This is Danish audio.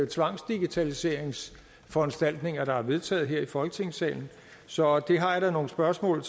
tvangsdigitaliseringsforanstaltninger der er vedtaget her i folketingssalen så det har jeg da nogle spørgsmål